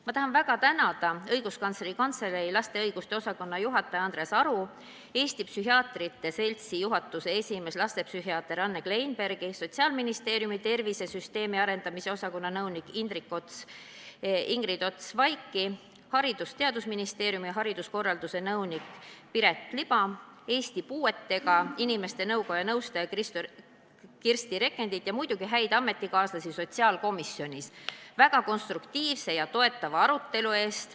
Ma tahan väga tänada Õiguskantsleri Kantselei laste õiguste osakonna juhatajat Andres Aru, Eesti Psühhiaatrite Seltsi juhatuse esimeest lastepsühhiaater Anne Kleinbergi, Sotsiaalministeeriumi tervisesüsteemi arendamise osakonna nõunikku Ingrid Ots-Vaiki, Haridus- ja Teadusministeeriumi hariduskorralduse nõunikku Piret Liba, Eesti Puuetega Inimeste Koja nõustajat Kristi Rekandit ning muidugi häid ametikaaslasi sotsiaalkomisjonis väga konstruktiivse ja toetava arutelu eest.